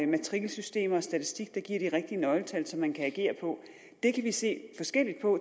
matrikelsystemer og statistik der giver de rigtige nøgletal som man kan agere på det kan vi se forskelligt på